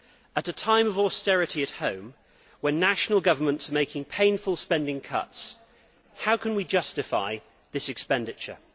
At a time of austerity at home, when national governments are making painful spending cuts, how can we justify that expenditure?